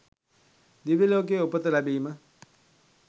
දිව්‍ය ලෝකයේ උපත ලැබීම